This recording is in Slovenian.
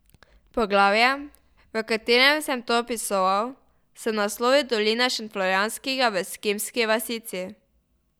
Poglavje, v katerem sem to opisoval, sem naslovil Dolina šentflorjanska v eskimski vasici.